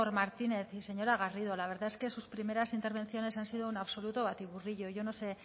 martínez y señora garrido la verdad es que sus primeras intervenciones han sido un absoluto batiburrillo yo no sé